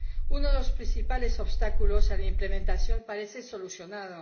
Uno de los principales obstáculos a la implementación parece solucionado.